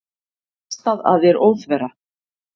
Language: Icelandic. Kastað að þér óþverra.